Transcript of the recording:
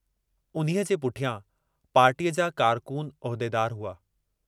उन्हीअ जे पुठियां पार्टीअ जा कारकून उहदेदार हुआ।